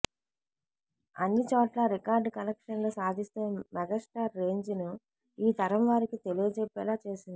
అన్ని చోట్లా రికార్డు కలెక్షన్లు సాధిస్తూ మెగాస్టార్ రేంజ్ ను ఈ తరం వారికి తెలియజెప్పేలా చేసింది